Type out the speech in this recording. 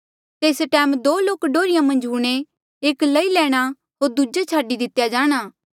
तेस टैम दो लोक डोहर्रिया मन्झ हूंणे एक लई लैणा होर दूजा छाडी दितेया जाणा